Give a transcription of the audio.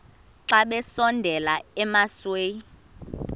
xa besondela emasuie